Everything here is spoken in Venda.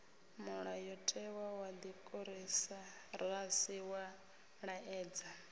mulayotewa wa dimokirasi wa laedza